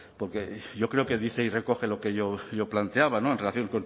porque yo creo que dice y recoge lo que yo planteaba en relación